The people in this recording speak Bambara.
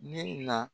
Ne na